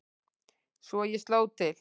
Svo ég sló til.